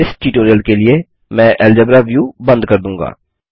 इस ट्यूटोरियल के लिए मैं अल्जेब्रा व्यू बंद कर दूँगा